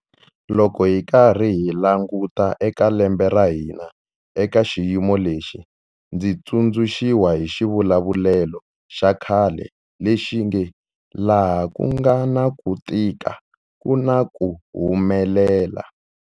Loko hi karhi hi languta eka lembe ra hina eka xiyimo lexi, ndzi tsundzuxiwa hi xivulavulelo xa khale lexi nge 'laha ku nga na ku tika ku na ku humelela'.